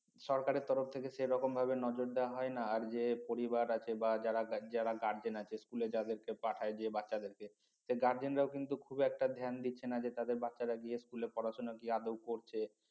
সরকারের তরফ থেকে সেরকম ভাবে নজর দেওয়া হয় না আর যে পরিবার আছে বা যারা guardian আছে স্কুলে যাদেরকে পাঠায় যে বাচ্চাদেরকে সেই guardian রাও কিন্তু খুব একটা ধ্যান দিচ্ছে না যে তাদের বাচ্চারা গিয়ে স্কুলে পড়াশোনা কি আদৌ করছে